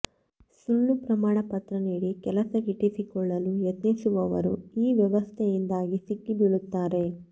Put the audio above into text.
ಸುಳ್ಳು ಪ್ರಮಾಣ ಪತ್ರ ನೀಡಿ ಕೆಲಸ ಗಿಟ್ಟಿಸಿಕೊಳ್ಳಲು ಯತ್ನಿಸುವವರು ಈ ವ್ಯವಸ್ಥೆಯಿಂದಾಗಿ ಸಿಕ್ಕಿ ಬೀಳುತ್ತಾರೆ